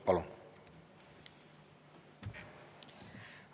Palun!